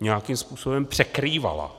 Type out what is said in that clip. nějakým způsobem překrývala.